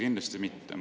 Kindlasti mitte!